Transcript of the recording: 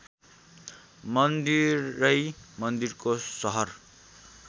मन्दिरै मन्दिरको सहर